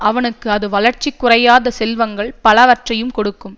அவனுக்கு அது வளர்ச்சி குறையாத செல்வங்கள் பலவற்றையும் கொடுக்கும்